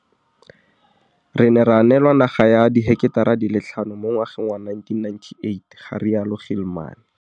Re ne ra neelwa naga ya diheketara di le tlhano mo ngwageng wa 1998, ga rialo Gilman.